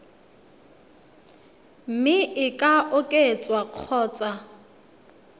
mme e ka oketswa kgotsa